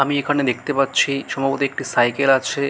আমি এখানে দেখতে পাচ্ছি সম্ভবত একটি সাইকেল আছে।